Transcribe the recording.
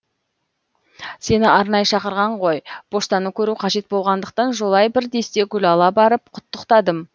сені арнайы шақырған ғой поштаны көру қажет болғандықтан жолай бір десте гүл ала барып құттықтадым